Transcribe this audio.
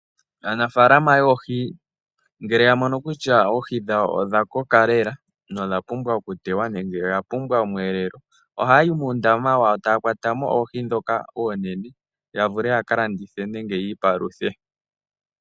Aanafalama yoohi ngele ya mono kutya oohi dhawo odha koka lela, nodha pumbwa oku tewa nenge oya pumbwa omweelelo. Ohayi muundama wayo etaya kwata mo oohi dhoka oonene. Ya vule yaka landithe nenge yi ipaluthe.